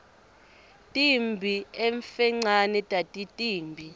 timphi emfecane tatitimbi